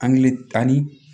tan ni